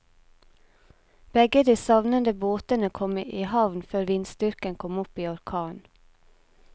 Begge de savnede båtene kom i havn før vindstyrken kom opp i orkan.